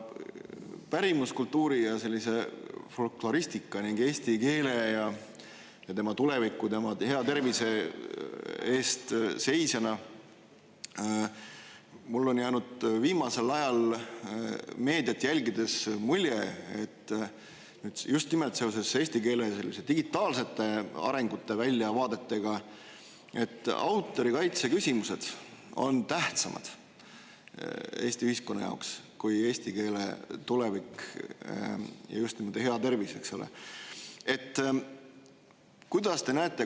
Pärimuskultuuri ja folkloristika ning eesti keele ja tema tuleviku, tema hea tervise eest seisjana on mul jäänud viimasel ajal meediat jälgides mulje, et just nimelt seoses eesti keele digitaalsete arengute väljavaadetega on autorikaitse küsimused Eesti ühiskonna jaoks tähtsamad kui eesti keele tulevik ja hea tervis.